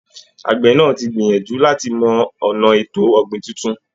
Àgbẹ̀ náà ti gbìyànjú láti mọ ọ̀nà ètò ọ̀gbìn tuntun